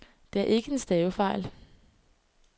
Det er ikke en stavefejl.